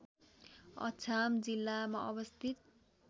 अछाम जिल्लामा अवस्थित